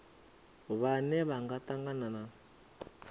vhane vha nga tangana na